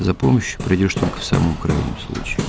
за помощью придёшь только в самом крайнем случае